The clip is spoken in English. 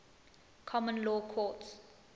common law courts